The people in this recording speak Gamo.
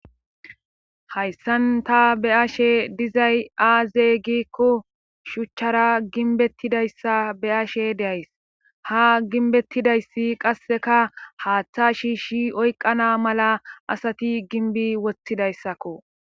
Hayssan ta be ashe dizay aazey gikko shuchchara ginbettidayssa be ashe deays ha ginbettidayssi qasseka haaththa shiishi oyqqana mala asati ginbi woththidayssakko.